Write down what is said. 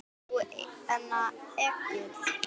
Ert þú Egill?